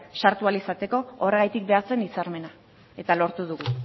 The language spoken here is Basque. sartu ahal izateko horregatik behar zen hitzarmena eta lortu dugu